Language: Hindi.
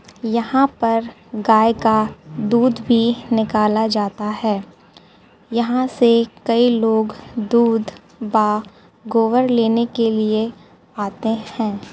यहाँ पर गाय का दूध भी निकाला जाता है। यहाँ से कई लोग दूध बा गोबर लेने के लिए आते हैं।